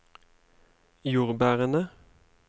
jordbærene